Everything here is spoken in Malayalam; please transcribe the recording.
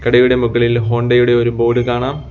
കടയുടെ മുകളിൽ ഹോണ്ടയുടെ ഒരു ബോർഡ് കാണാം.